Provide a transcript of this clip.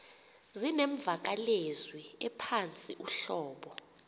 zinemvakalezwi ephantsi uhlobo